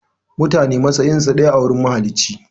Mutane matsayinsu ɗaya a gurin mahalici.